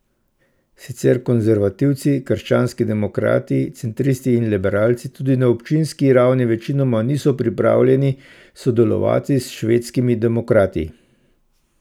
Sicer konservativci, krščanski demokrati, centristi in liberalci tudi na občinski ravni večinoma niso pripravljeni sodelovati s Švedskimi demokrati.